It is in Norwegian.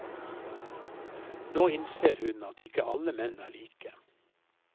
Nå innser hun at ikke alle menn er like.